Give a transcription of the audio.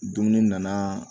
Dumuni nana